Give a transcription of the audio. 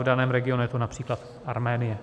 V daném regionu je to například Arménie.